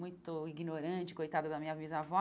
Muito ignorante, coitada da minha bisavó.